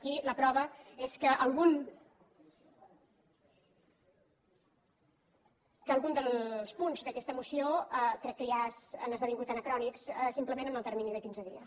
i la prova és que algun dels punts d’aquesta moció crec que ja han esdevingut anacrònics simplement en el termini de quinze dies